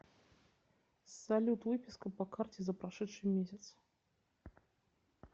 салют выписка по карте за прошедший месяц